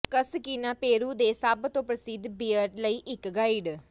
Cusquena Peru ਦੇ ਸਭ ਤੋਂ ਪ੍ਰਸਿੱਧ ਬੀਅਰ ਲਈ ਇੱਕ ਗਾਈਡ